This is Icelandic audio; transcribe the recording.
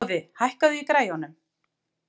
Boði, hækkaðu í græjunum.